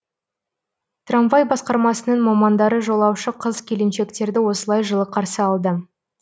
трамвай басқармасының мамандары жолаушы қыз келіншектерді осылай жылы қарсы алды